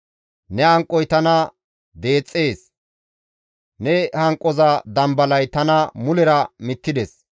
Ne hanqoy tana deexxees; ne hanqoza dambalay tana mulera mittides.